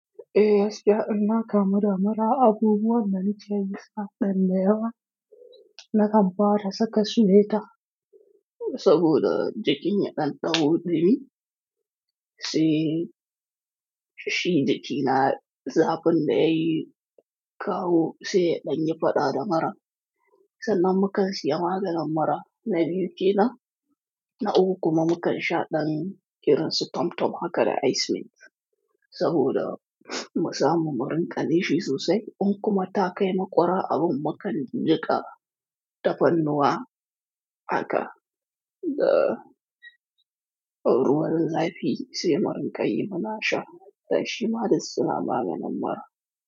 Eh, gaskiya inna kamu da mura abubuwan dana ke yi suna da ɗan yawa na kan fara saka suweta saboda jikin ya ɗan ɗau ɗumi, sai shi jiki na zafin da yayi kawo sai ya ɗanyi faɗa da muran. Sannan mu kan siya maganin mura na biyu kenan, na uku kuma mu kansha ɗan irin su tomtom haka da ice mint. Saboda musa mu murin ƙa nishi sosai, in kuma ta kai maƙura abun mu kan jiƙa tafarnuwa haka. Da ruwan zafi sai murin ƙa yi muna sha, dan shi ma dus suna maganin mura.